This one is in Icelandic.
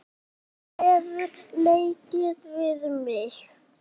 Lífið hefur leikið við mig.